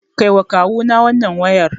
Kaiwa Kawuna wannan wayar.